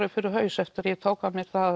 upp fyrir haus eftir að ég tók